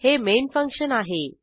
हे main function आहे